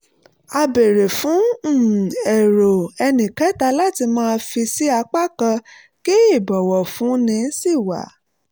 a béèrè fún um èrò ẹnìkẹ́ta láti má fì sí apá kan kí ìbọ̀wọ̀fúni sì wà